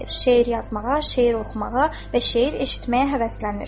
Şeir yazmağa, şeir oxumağa və şeir eşitməyə həvəslənir.